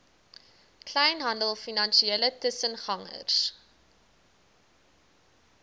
kleinhandel finansiële tussengangers